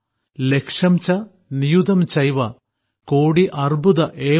ലക്ഷം ച നിയുതം ചൈവ കോടിഃ അർബുദം ഏവ ച